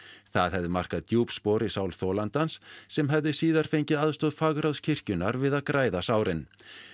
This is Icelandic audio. það hefði markað djúp spor í sál þolandans sem hefði síðar fengið aðstoð fagráðs kirkjunnar við að græða sárin